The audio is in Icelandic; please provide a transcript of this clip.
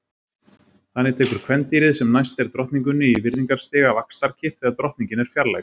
Þannig tekur kvendýrið sem næst er drottningunni í virðingarstiga vaxtarkipp þegar drottningin er fjarlægð.